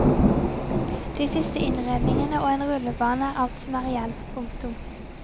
De siste innredningene og en rullebane er alt som er igjen. punktum